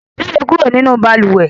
Jáde kúrò nínú balùwẹ̀!